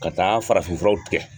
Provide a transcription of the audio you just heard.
Ka taa farafinfuraw tigɛ kɛ